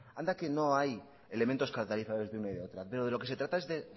anda que no hay elementos catalizadores de una y de otra pero de lo que se trata es de